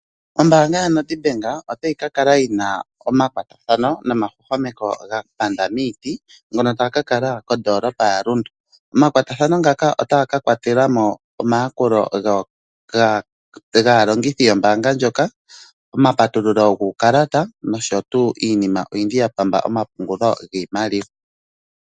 Ombaanga yoNEDBANK otayi kala yina omakwatathano nomahwahwameko ga kwata miiti ngono taga kala modolopa yaRundu otaga ka kwatelamo omayakulo gaalongithi yombanga ndjoka omapatululo guukalata nosho wo iinima ya pamba omapungulo giimaliwa.